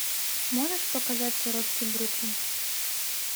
можешь показать сиротский бруклин